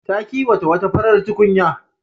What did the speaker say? Ta kiwata wata farar tukunya.